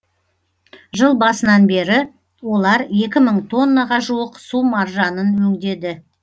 жыл басынан бері олар екі мың тоннаға жуық су маржанын өңдеді